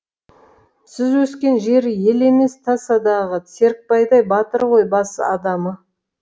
сіз өскен жер ел емес тасадағы серікбайдай батыр ғой бас адамы